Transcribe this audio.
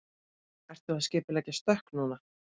Ertu að skipuleggja stökk núna?